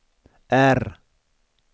R